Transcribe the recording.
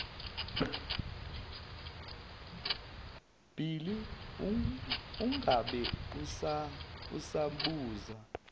bhili ungabe usabuza